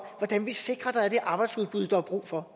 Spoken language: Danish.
hvordan vi sikrer at der er det arbejdsudbud der er brug for